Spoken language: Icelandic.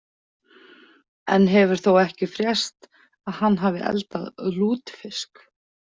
Enn hefur þó ekki frést að hann hafi eldað lútfisk.